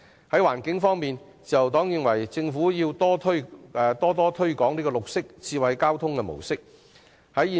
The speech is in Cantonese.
在環境方面，自由黨認為政府應加強推廣綠色、智慧交通模式。